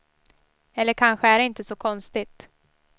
Eller kanske är det inte så konstigt.